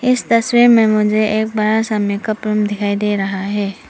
इस तस्वीर में मुझे एक बड़ा सा मेकअप रूम दिखाई दे रहा है।